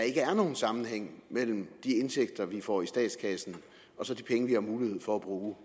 ikke er nogen sammenhæng mellem de indtægter vi får i statskassen og så de penge som vi har mulighed for at bruge